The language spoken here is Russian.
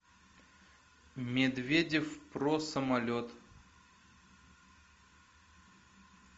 медведев про самолет